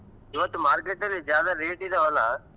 ಇವತ್ತ್ market ಅಲ್ಲಿ ज़्यादा rate ಇದವಲ್ಲಾ?